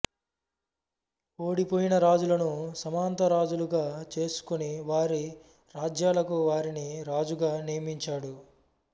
ఓడిపోయిన రాజులను సామంతరాజులుగా చేసుకుని వారి రాజ్యాలకు వారిని రాజుగా నియమించాడు